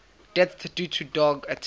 deaths due to dog attacks